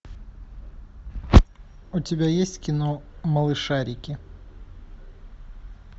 у тебя есть кино малышарики